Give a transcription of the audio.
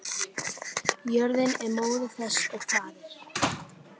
Jörðin er móðir þess og faðir.